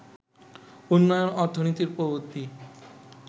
উন্নয়ন অর্থনীতির প্রবৃদ্ধি